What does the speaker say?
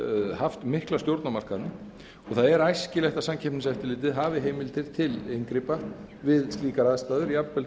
haft mikla stjórn á markaðnum og það er æskilegt að samkeppniseftirlitið hafi heimildir til inngripa við slíkar aðstæður jafnvel